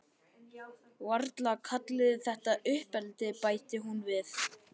Varla kalliði þetta uppeldi, bætti hún við.